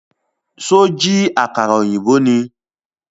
Ṣó jí àkàrà ọ̀yìnbó ni?